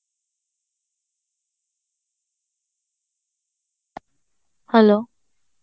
hello